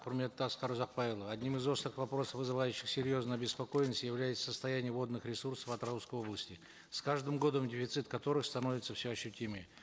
құрметті асқар ұзақбайұлы одним из острых вопросов вызывающих серьезную обеспокоенность является состояние водных ресурсов атырауской области с каждым годом дефицит которой становится все ощутимее